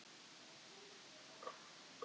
Í þokkabót hafði hún verið sein að fatta þetta.